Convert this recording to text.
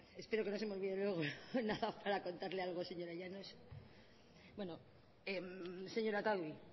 espero que no se me olvide luego nada para contarle algo a la señora llanos bueno señora otadui